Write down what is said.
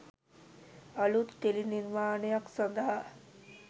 අලුත් ටෙලි නිර්මාණයක් සඳහා